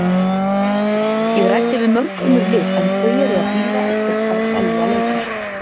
Ég ræddi við mörg önnur lið en þau eru að bíða eftir að selja leikmenn.